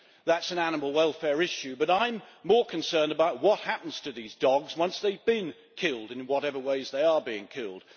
That is an animal welfare issue, but I am more concerned about what happens to these dogs once they have been killed in whatever ways they are being killed.